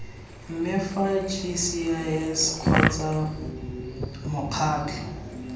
mme fa gcis kgotsa mokgatlho